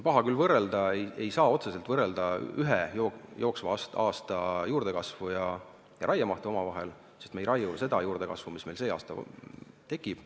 Paha on võrrelda – ei saa otseselt võrrelda – omavahel ühe ja sama jooksva aasta juurdekasvu ja raiemahtu, sest me ei raiu ju seda juurdekasvu, mis meil sel aastal tekib.